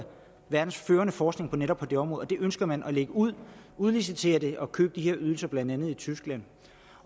verdens førende forskning netop på det område og det ønsker man at lægge ud udlicitere det og købe de her ydelser blandt andet i tyskland